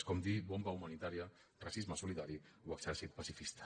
és com dir bomba humanitària racisme solidari o exèrcit pacifista